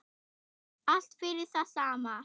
Allt fyrir það sama.